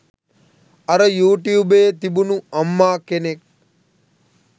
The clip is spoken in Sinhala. අර යු ටියුබයේ තිබුණු අම්මා කෙනෙක්